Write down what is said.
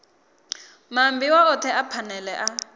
maambiwa othe a phanele a